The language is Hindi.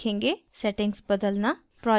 सेटिंग्स बदलना